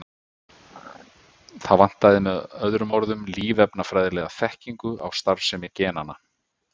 Það vantaði með öðrum orðum lífefnafræðilega þekkingu á starfsemi genanna.